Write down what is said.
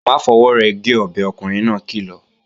Má fọwọ́ rẹ̀ gé ọbẹ̀, ọkùnrin náà kìlọ̀!